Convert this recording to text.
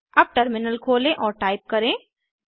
अब टर्मिनल खोलें और टाइप करें